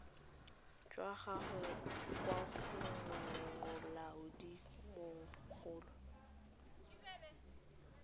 jwa gagwe kwa go molaodimogolo